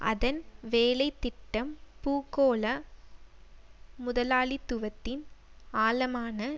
அதன் வேலை திட்டம் பூகோள முதலாளித்துவத்தின் ஆழமான